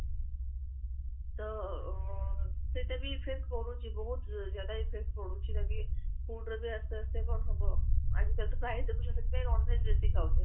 ତ ଅ ସସେଟା ବି effect ପଡୁଛି ବହୁତ effect ପଡୁଛି ବାକି food ରେ ଆସ୍ତେ ଆସ୍ତେ କଣ ହବ ଆଜି କଲି ତ ପ୍ରାଯ ସେଠୀ ପାଇଁ ଦେଖୁଛ non-veg ବେଶୀ ଖାଉଛନ୍ତି